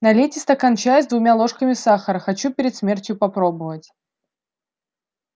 налейте стакан чая с двумя ложками сахара хочу перед смертью попробовать